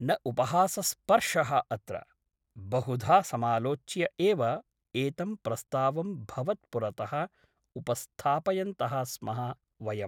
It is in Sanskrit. न उपहासस्पर्शः अत्र । बहुधा समालोच्य एव एतं प्रस्तावं भवत्पुरतः उपस्थापयन्तः स्मः वयम् ।